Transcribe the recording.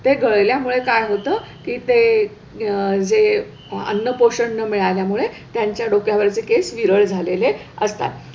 ते गळल्यामुळे काय होतं की ते अह जे अन्न पोषण न मिळाल्यामुळे त्यांच्या डोक्यावरचे केस विरळ झालेले असतात.